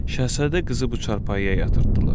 Şahzadə qızı bu çarpayıya yatırtdılar.